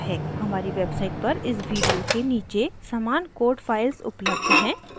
हमारी वेबसाइट पर इस वीडिओ के नीचे समान कोड फाइल्स उपलब्ध हैं